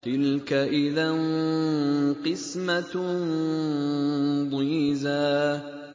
تِلْكَ إِذًا قِسْمَةٌ ضِيزَىٰ